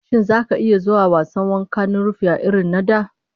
Shin zaka iya zuwa wasan wanka a rafi irrin na da?